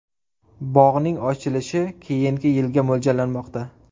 Bog‘ning ochilishi keyingi yilga mo‘ljallanmoqda.